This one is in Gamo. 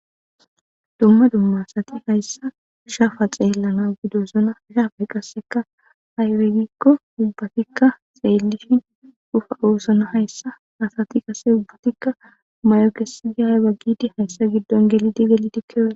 Duma duma asati haysan shafa xelanaw bidosona ha'i qaseka aybe giko ubatika xelidi bosona haysa asati qase ubatika ma'o kesidi ayba gidi haysa gidon gelidi gelidi kiyosona.